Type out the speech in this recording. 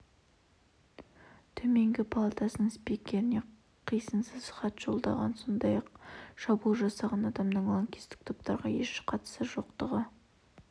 төменгі палатасының спикеріне қисынсыз хат жолдаған сондай-ақ шабуыл жасаған адамның лаңкестік топтарға еш қатысы жоқтығы